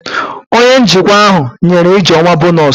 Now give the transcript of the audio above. Onye njikwa ahụ nyere ijeoma bonọs